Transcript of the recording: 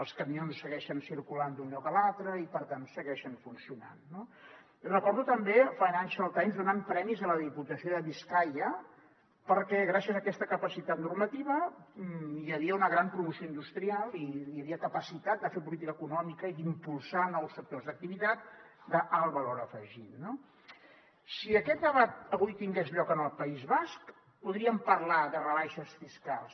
els camions segueixen circulant d’un lloc a l’altre i per tant segueixen funcionant no recordo també el financial times donant premis a la diputació de biscaia perquè gràcies a aquesta capacitat normativa hi havia una gran promoció industrial i hi havia capacitat de fer política econòmica i d’impulsar nous sectors d’activitat d’alt valor afegit no si aquest debat avui tingués lloc en el país basc podríem parlar de rebaixes fiscals